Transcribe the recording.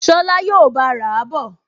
Ṣọlá yóò bá a rà á bọ̀